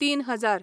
तीन हजार